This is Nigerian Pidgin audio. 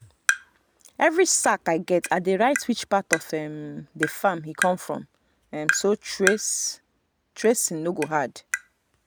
every sack i get i dey write which part of um the farm e come from um so trace um no go hard.